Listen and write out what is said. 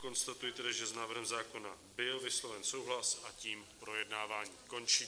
Konstatuji tedy, že s návrhem zákona byl vysloven souhlas, a tím projednávání končí.